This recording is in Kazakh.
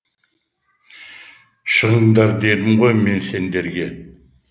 шығыңдар дедім ғой мен сендерге